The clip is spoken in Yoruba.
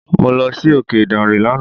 Mo lọ si òkè ìdànrè lánàá.